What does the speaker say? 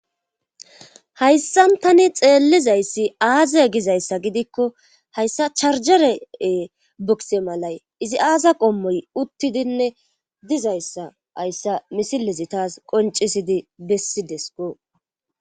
Hayssan tani xeellizayssi aaze gizayssa gidikko hayssa charjeree bukse malay izi aaza qommoy uttidinne dizayssa hayssa misilizi taas qoncisidi bessi desko.